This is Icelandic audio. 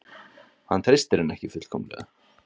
Hann treystir henni ekki fullkomlega.